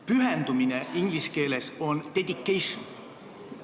Pühendumine on inglise keeles dedication.